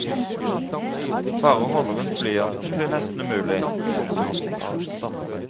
Bare å holde rundt blyanten blir nesten umulig. punktum